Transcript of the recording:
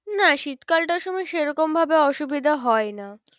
না শীত কালটার সময়ে সেরকম ভাবে অসুবিধা হয় না।